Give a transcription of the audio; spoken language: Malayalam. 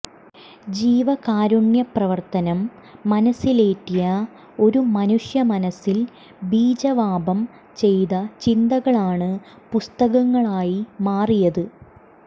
ജീവകാരുണ്യ പ്രവർത്തനം മനസ്സിലേറ്റിയ ഒരു മനുഷ്യ മനസ്സിൽ ബീജാവാപം ചെയ്ത ചിന്തകളാണ് പുസ്തകങ്ങളായി മാറിയത്